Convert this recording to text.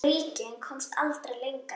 Bríkin komst aldrei lengra.